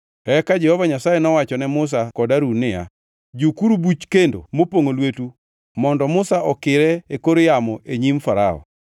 Eka Jehova Nyasaye nowacho ne Musa kod Harun niya, “Jukuru buch kendo mopongʼo lwetu mondo Musa okire e kor yamo e nyim Farao.